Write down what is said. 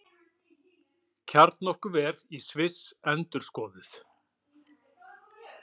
Kjarnorkuver í Sviss endurskoðuð